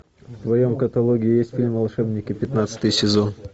в твоем каталоге есть фильм волшебники пятнадцатый сезон